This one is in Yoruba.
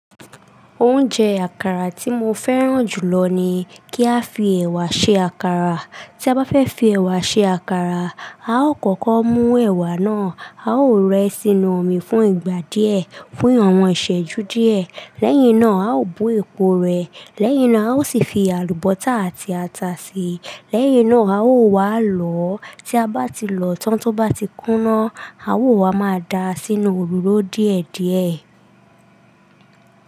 Oúnjẹ àkàrà tí mo fẹ́ràn jùlọ ni kí a fi ẹ̀wà ṣe àkàrà. Tí a bá fẹ́ fi ẹ̀wà ṣe àkàrà, a ó kọ́kọ́ mú ẹ̀wà náà. A ó rẹ́ ẹ sínú omi fún ìgbà díẹ̀, fún awọ̀n ìṣẹ́jú díẹ̀. Lẹ́yìn náà, a ó bo èpo rẹ̀. Lẹ́yìn náà, a ó sì fi àlùbọ́sà àti ata si. Lẹ́yìn náà, a ó wá lọ̀ ọ́. Tí a bá ti lọ̀ ọ́ tán, tó bá ti kúná, a ó wá máa da sínu òroro díẹ̀díẹ̀.